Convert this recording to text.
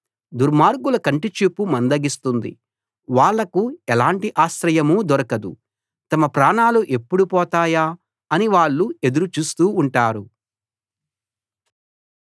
దుర్మార్గుల కంటిచూపు మందగిస్తుంది వాళ్లకు ఎలాంటి ఆశ్రయమూ దొరకదు తమ ప్రాణాలు ఎప్పుడు పోతాయా అని వాళ్ళు ఎదురు చూస్తూ ఉంటారు